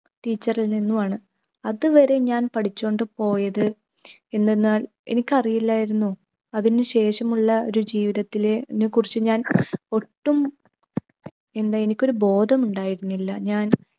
teacher ൽ നിന്നുമാണ്. അതുവരെ ഞാൻ പഠിച്ചോണ്ടുപോയത് എന്തെന്നാൽ എനിക്കറിയില്ലായിരുന്നു അതിനു ശേഷമുള്ള ഒരു ജീവിതത്തിലെ നെ കുറിച്ച് ഞാൻ ഒട്ടും എന്താ എനിക്കൊരു ബോധമുണ്ടായിരുന്നില്ല. ഞാൻ